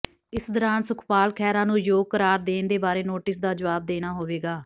ਇਸ ਦੌਰਾਨ ਸੁਖਪਾਲ ਖਹਿਰਾ ਨੂੰ ਆਯੋਗ ਕਰਾਰ ਦੇਣ ਦੇ ਬਾਰੇ ਨੋਟਿਸ ਦਾ ਜਵਾਬ ਦੇਣਾ ਹੋਵੇਗਾ